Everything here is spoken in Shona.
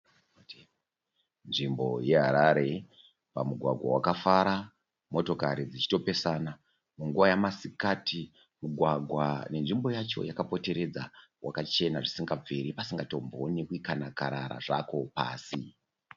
Nzvimbo yeHarare pamugwagwa wakafara motokari dzichitopesana munguva yemasikati. Mugwagwa nenzvimbo yacho yakapoteredza wakachena zvisingabviri pasingatomboonekwi kana rara zvaro pasi.